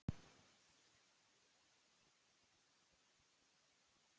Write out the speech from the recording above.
Edda reynir að taka sjálfa sig á beinið og leita skýringa.